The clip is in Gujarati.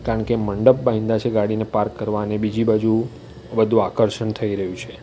કારણ કે મંડપ બાયધા છે ગાડીને પાર્ક કરવા અને બીજી બાજુ બધુ આકર્ષણ થઈ રહ્યું છે.